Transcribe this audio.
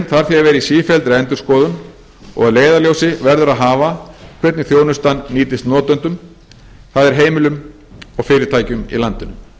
vera í sífelldri endurskoðun og að leiðarljósi verður að hafa hvernig þjónustan nýtist notendum það er heimilum og fyrirtækjum í landinu